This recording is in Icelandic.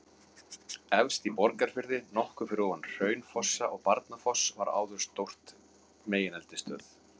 Efst í Borgarfirði, nokkuð fyrir ofan Hraunfossa og Barnafoss var áður stór megineldstöð.